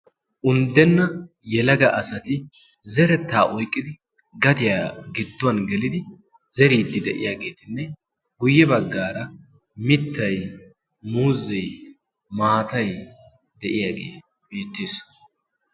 unddenna yelaga asati zerettaa oiqqidi gatiyaa gidduwan gelidi zeriiddi de7iyaageetinne guyye baggaara mittai muuzei maatai de7iyaagee beettes.